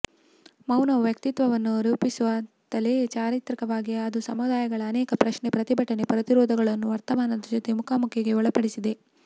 ಮೌನವು ವ್ಯಕ್ತಿತ್ವವನ್ನು ರೂಪಿಸು ತ್ತಲೆ ಚಾರಿತ್ರಿಕವಾಗಿ ಅದು ಸಮುದಾಯಗಳ ಅನೇಕ ಪ್ರಶ್ನೆ ಪ್ರತಿಭಟನೆ ಪ್ರತಿರೋಧಗಳನ್ನು ವರ್ತಮಾನದ ಜೊತೆ ಮುಖಾಮುಖಿಗೆ ಒಳಪಡಿಸಿದೆ